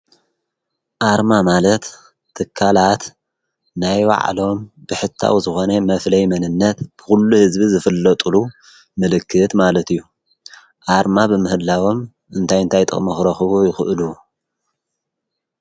ኣርማ ማለት ትካላት ናይ ባዕሎም ብሕታዊ ዝኮነ መፍለይ መንነት ብኩሉ ህዝቢ ዝፍለጥሉ ምልክት ማለት እዩ። ኣርማ ብምህላዎም እንታይ እንታይ ጥቅሚ ክረክቡ ይክእሉ?